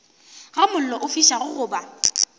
ga mollo o fišago goba